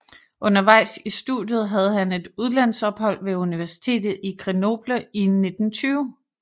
Undervejs i studiet havde han et udlandsophold ved universitet i Grenoble i 1920